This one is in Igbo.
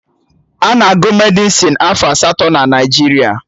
Ana agụ Medịsịn afọ asatọ na Naijiria